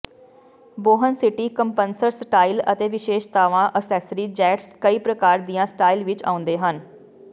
ਬੌਹਨਸਿਟੀ ਕੰਪਨਸਰ ਸਟਾਈਲ ਅਤੇ ਵਿਸ਼ੇਸ਼ਤਾਵਾਂ ਐਕਸੈਸਰੀ ਜੇਟਸ ਕਈ ਪ੍ਰਕਾਰ ਦੀਆਂ ਸਟਾਈਲ ਵਿੱਚ ਆਉਂਦੇ ਹਨ